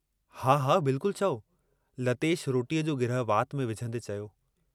हा, हा बिल्कुल चओ" लतेश रोटीअ जो गिरहु वात में विझंदे चयो।